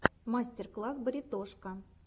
мастер класс баритошка